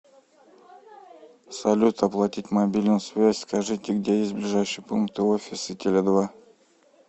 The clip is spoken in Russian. салют оплатить мобильную связь скажите где есть ближайшие пункты офисы теле два